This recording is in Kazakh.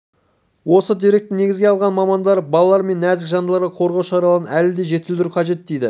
осы деректі негізге алған мамандар балалар мен нәзік жандыларды қорғау шараларын әлі де жетілдіру қажет дейді